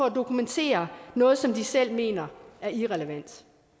at dokumentere noget som de selv mener er irrelevant